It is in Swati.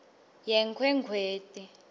yenkhwekhweti